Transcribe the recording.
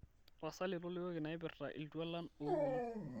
tapasali tolikioki inaipirta iltualan oopuonu